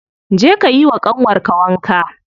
Je ka yiwa ƙanwar ka wanka.